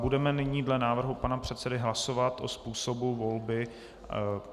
Budeme nyní dle návrhu pana předsedy hlasovat o způsobu volby.